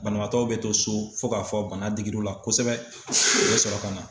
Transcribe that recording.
Banabaatɔw bɛ to so fo k'a fɔ bana digir'u la kosɛbɛ u bɛ sɔrɔ ka na.